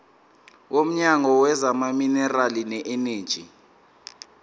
womnyango wezamaminerali neeneji